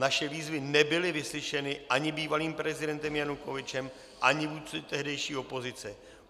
Naše výzvy nebyly vyslyšeny ani bývalým prezidentem Janukovyčem, ani vůdci tehdejší opozice.